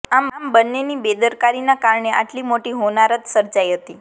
આમ બંનેની બેદરકારીના કારણે આટલી મોટી હોનારત સર્જાઈ હતી